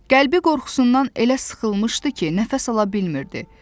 Qəlbi qorxusundan elə sıxılmışdı ki, nəfəs ala bilmirdi.